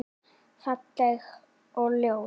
Falleg og ljót.